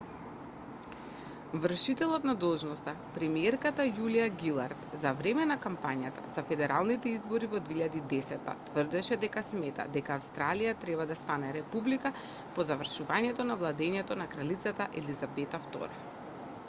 вршителот на должноста премиерката јулиа гилард за време на кампањата за федералните избори во 2010 тврдеше дека смета дека австралија треба да стане република по завршувањето на владеењето на кралица елизабета ii